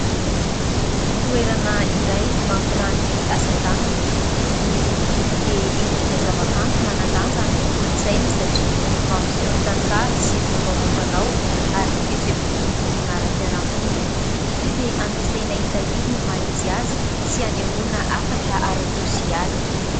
Toerana iray mampiranty asa tanana. Ny hoso-doko dia endrika zava-kanto manan-danja amin'ny kolontsaina satria mampiseho ny tantara sy fomba amam-panao ary ny fihetseham-pon'ny vondrona aram-piaramonina. Izy io dia ampiasaina hitahiry ny maha izy azy sy hanehoana hafatra ara-tsosialy.